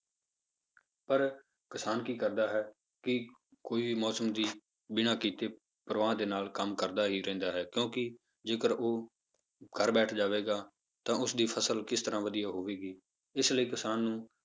ਪਰ ਕਿਸਾਨ ਕੀ ਕਰਦਾ ਹੈ, ਕਿ ਕੋਈ ਵੀ ਮੌਸਮ ਦੀ ਬਿਨੇ ਕੀਤੇ ਪਰਵਾਹ ਦੇ ਨਾਲ ਕੰਮ ਕਰਦਾ ਹੀ ਰਹਿੰਦਾ ਹੈ ਕਿਉਂਕਿ ਜੇਕਰ ਉਹ ਘਰ ਬੈਠ ਜਾਵੇਗਾ ਤਾਂ ਉਸਦੀ ਫਸਲ ਕਿਸ ਤਰ੍ਹਾਂ ਵਧੀਆ ਹੋਵੇਗੀ ਇਸ ਲਈ ਕਿਸਾਨ ਨੂੰ